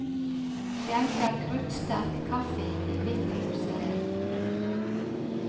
Skjenker kruttsterk kaffe i hvitt porselen.